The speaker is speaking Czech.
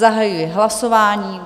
Zahajuji hlasování.